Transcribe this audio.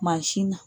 Mansin na